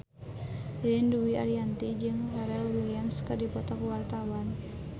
Ririn Dwi Ariyanti jeung Pharrell Williams keur dipoto ku wartawan